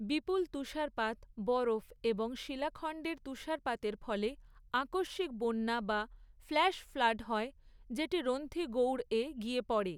বিপুল তুষারপাত, বরফ এবং শিলাখণ্ডের তুষারপাতের ফলে আকস্মিক বন্যা, বা ফ্ল্যাশ ফ্লাড হয়, যেটি রন্থী গৌড়ে গিয়ে পড়ে।